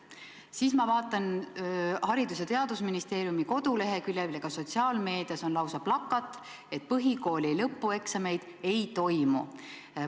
Aga kui ma vaatan Haridus- ja Teadusministeeriumi kodulehekülge ja sotsiaalmeediat, siis seal on lausa plakat, mis ütleb, et põhikooli lõpueksameid ei toimu.